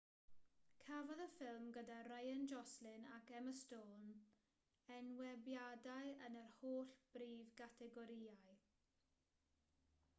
cafodd y ffilm gyda ryan gosling ac emma stone enwebiadau yn yr holl brif gategorïau